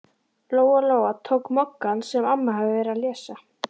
Lóa-Lóa tók Moggann sem amma hafði verið að lesa.